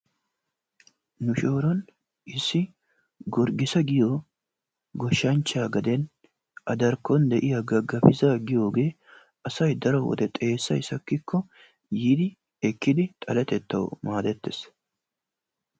Nu shooron issi Gorgiisa giyo gooshshanchchaa gaden A darkkon de'iyaa gagabisaa asay daro wode xeessay saakkiko yiidi eekkidi xallettettawu maadettees.